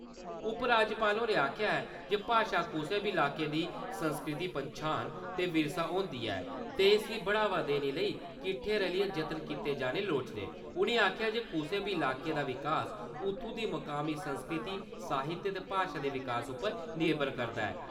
उपराज्यपाल होरें आक्खेआ जे भाशा कुसै बी इलाके दी सांस्कृतिक पन्छान, ते विरसा होंदी ऐ ते इसी बढ़ावा देने लेई किट्ठे रलियै जतन कीते जाने लोड़चदे उनें आक्खेआ जे कुसै बी इलाके दा विकास उत्थु दी मकामी संस्कृति साहित्य ते भाशा दे विकास पर निर्भर करदा ऐ।